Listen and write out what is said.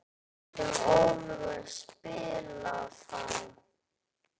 Getur Oliver spilað þá?